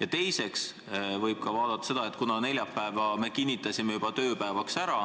Ja teiseks, kuna neljapäeva me kinnitasime juba tööpäevana ära,